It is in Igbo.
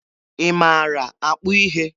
Ị maara akpụ ihe?